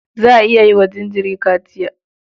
Za a iya yi wa jinjiri kaciya.